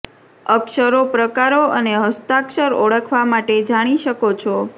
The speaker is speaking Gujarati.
અક્ષરો પ્રકારો અને હસ્તાક્ષર ઓળખવા માટે જાણી શકો છો